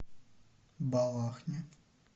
балахне